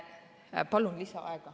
Palun lisaaega.